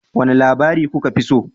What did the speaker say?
Wane labari kuka fi so?